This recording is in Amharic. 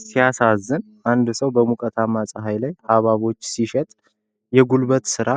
ሲያሳዝን! አንድ ሰው በሞቃታማው ፀሐይ ላይ ሐብሐቦችን ሲሸጥ! የጉልበት ሥራ!